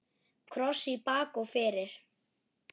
Kross í bak og fyrir.